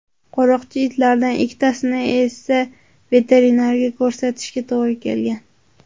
Qo‘riqchi itlardan ikkitasini esa veterinarga ko‘rsatishga to‘g‘ri kelgan.